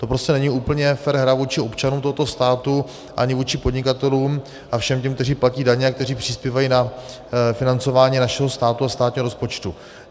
To prostě není úplně fér hra vůči občanům tohoto státu ani vůči podnikatelům a všem těm, kteří platí daně a kteří přispívají na financování našeho státu a státního rozpočtu.